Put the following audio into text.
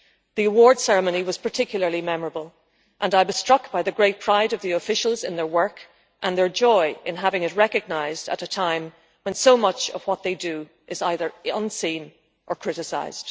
The award ceremony was particularly memorable and I was struck by the great pride of the officials in their work and their joy in having it recognised at a time when so much of what they do is either unseen or criticised.